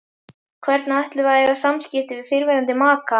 Hvernig ætlum við að eiga samskipti við fyrrverandi maka?